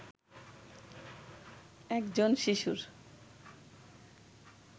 একজন শিশুর